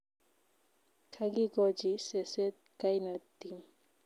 Kagikochi seset kainet Tim